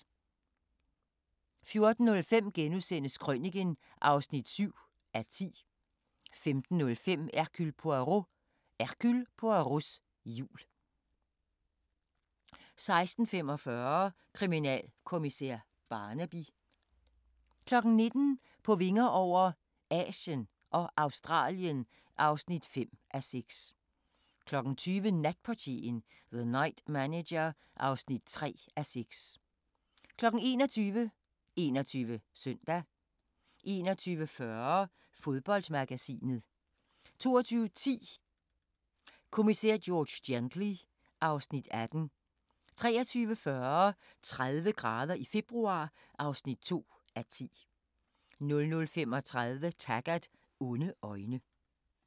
14:05: Krøniken (7:10)* 15:05: Hercule Poirot: Hercule Poirots jul 16:45: Kriminalkommissær Barnaby 19:00: På vinger over - Asien og Australien (5:6) 20:00: Natportieren – The Night Manager (3:6) 21:00: 21 Søndag 21:40: Fodboldmagasinet 22:10: Kommissær George Gently (Afs. 18) 23:40: 30 grader i februar (2:10) 00:35: Taggart: Onde øjne